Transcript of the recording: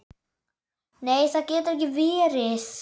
Nei það getur ekki verið.